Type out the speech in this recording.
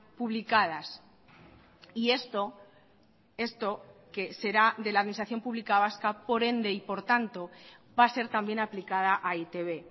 publicadas y esto esto que será de la administración pública vasca por ende y por tanto va a ser también aplicada a e i te be